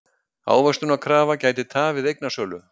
Ávöxtunarkrafa gæti tafið eignasölu